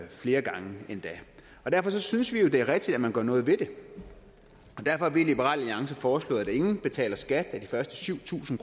flere gange derfor synes vi jo det er rigtigt at man gør noget ved det og derfor har vi i liberal alliance foreslået at ingen betaler skat af de første syv tusind